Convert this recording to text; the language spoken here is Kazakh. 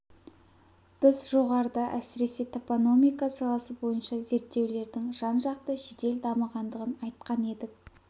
біз жоғарыда әсіресе топономика саласы бойынша зерттеулердің жанжақты жедел дамығандығын айтқан едік